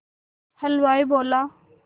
हलवाई बोला